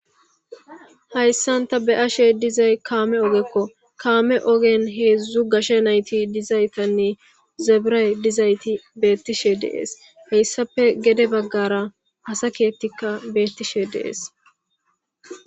hayssan ta be7ashe dizay kaame ogekko kaame ogen heedzdzu gashe nayti dizaytanne zabiray dizayti beettishe deees heyssape gede baggara asa keettikka beettishe de'ees